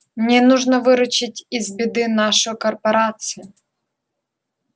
мне нужно выручить из беды нашу корпорацию